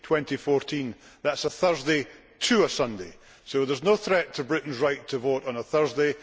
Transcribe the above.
2014 that is a Thursday to a Sunday, so there is no threat to Britain's right to vote on a Thursday.